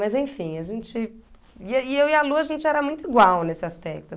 Mas enfim, a gente... E e, e eu e a Lu, a gente era muito igual nesse aspecto.